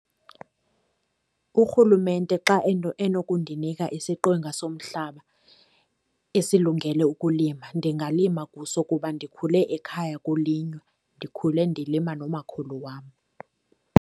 Urhulumente xa enokundinika isiqwenga somhlaba esilungele ukulima, ndingalima kuso kuba ndikhule ekhaya kulinywa. Ndikhule ndilima nomakhulu wam.